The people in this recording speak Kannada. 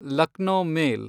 ಲಕ್ನೋ ಮೇಲ್